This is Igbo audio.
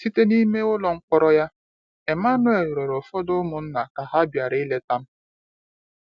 Site n’ime ụlọ mkpọrọ ya, Emmanuel rịrịọ ụfọdụ ụmụnna ka ha bịara ileta m.